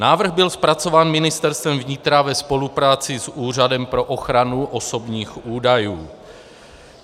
Návrh byl zpracován Ministerstvem vnitra ve spolupráci s Úřadem pro ochranu osobních údajů.